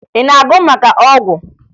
Ị na-agụ maka ọgwụ?